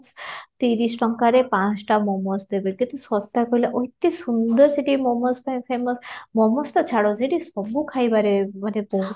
ତିରିଶ ଟଙ୍କାରେ ପାଞ୍ଚଟା momo's ଦେବେ କେତେ ଶସ୍ତା କହିଲ ଅତି ସୁନ୍ଦର ସେଠି momo's ପାଇଁ famous momo's ଛାଡ ସେଠି ସବୁ ଖାଇବାରେ ମାନେ ବହୁତ